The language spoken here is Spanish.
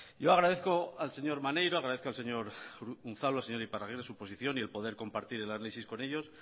yo agradezco al señor maneiro agradezco al señor unzalu señor iparragirre su posición y el poder compartir el análisis con ellos